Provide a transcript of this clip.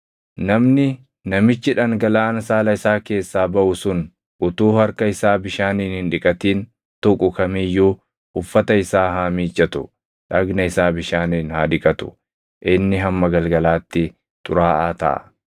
“ ‘Namni namichi dhangalaʼaan saala isaa keessaa baʼu sun utuu harka isaa bishaaniin hin dhiqatin tuqu kam iyyuu uffata isaa haa miiccatu; dhagna isaa bishaaniin haa dhiqatu; inni hamma galgalaatti xuraaʼaa taʼa.